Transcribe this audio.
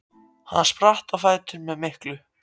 Hann spratt á fætur með miklu